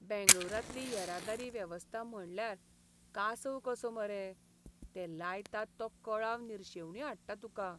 बेंगळूरांतली येरादारी वेवस्था म्हटल्यार कासव कसो मरे. ते लायतात तो कळाव निर्शेवणी हाडटा तुका.